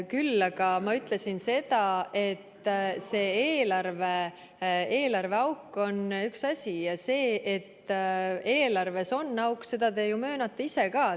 Küll aga ma ütlesin seda, et see eelarveauk on üks asi, ja seda, et eelarves on auk, te ju möönate ise ka.